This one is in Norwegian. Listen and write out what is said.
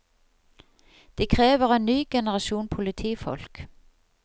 De krever en ny generasjon politifolk.